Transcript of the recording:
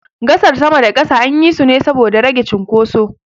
Gasar sama da na ƙasa anyi su ne saboda rage cunkoso.